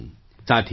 thank you